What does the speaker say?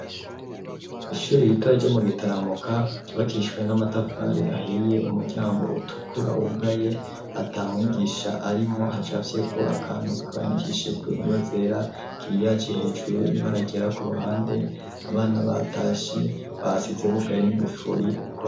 Ishuri ritoya ryo mu Gitaramuka ryubakishijwe n'amatafari ahiye, umuryango utukura wugaye ata mwigisha arimwo hacafyeko akantu kandikishije kw'ingwa zera, giriyaje hejuru n'ibara ryera ku ruhande, abana batashe basize bugaye n'ingufuri.